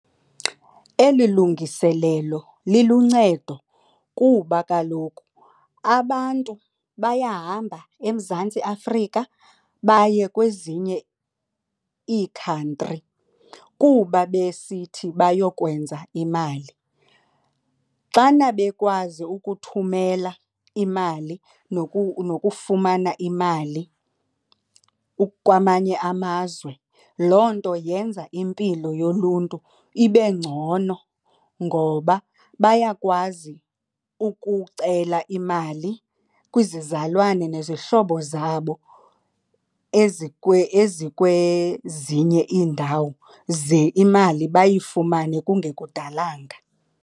Eli lungiselelo liluncedo kuba kaloku abantu bayahamba eMzantsi Afrika baye kwezinye iikhantri kuba besithi bayokwenza imali. Xana bekwazi ukuthumela imali nokufumana imali kwamanye amazwe loo nto yenza impilo yoluntu ibe ngcono ngoba bayakwazi ukucela imali kwizizalwane nezihlobo zabo ezikwezinye iindawo ze imali bayifumane kungekudalanga.